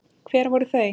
Hver voru þau?